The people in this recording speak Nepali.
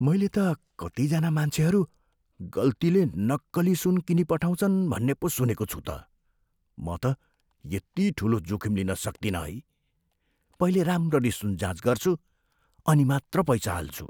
मैले त कतिजना मान्छेहरू गल्तीले नक्कली सुन किनिपठाउँछन् भन्ने पो सुनेको छु त। म त यति ठुलो जोखिम लिन सक्तिनँ है। पहिले राम्ररी सुन जाँच गर्छु, अनि मात्र पैसा हाल्छु।